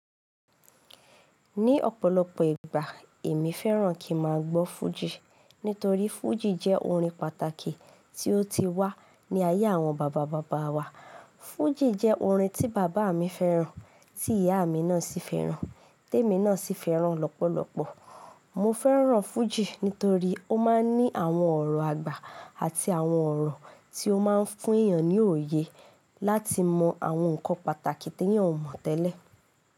Ní ọ̀pọ̀lọpọ̀ ìgbà, èmi fẹ́ràn kí n máa gbọ́ fújì. Nítorí fújì jẹ́ orin pàtàkì tí ó ti wá ní ayé àwọn baba baba wa. Fújì jẹ́ orin tí bàbá mi fẹ́ràn, tí ìyá mi náà sì fẹ́ràn, témi náà sì fẹ́ràn lọ́pọ̀lọpọ̀. Mo fẹ́ràn fújì nítorí ó máa ń ní àwọn ọ̀rọ̀ àgbà àti àwọn ọ̀rọ̀ tí ó máa ń fún èèyàn ní òye láti mọ àwọn nǹkan pàtàkì tí èèyàn ò mọ̀ tẹ́lẹ̀